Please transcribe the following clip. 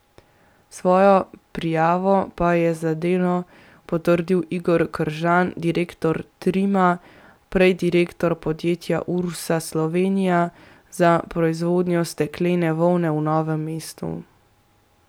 Svojo prijavo pa je za Delo potrdil Igor Kržan, direktor Trima, prej direktor podjetja Ursa Slovenija za proizvodnjo steklene volne v Novem mestu.